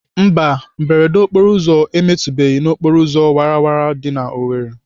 Mba, mberede okporoụzọ emetụbeghị n'okporoụzọ wara wara dị n'Owerri.